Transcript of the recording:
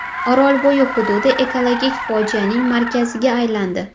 Orolbo‘yi hududi ekologik fojianing markaziga aylandi.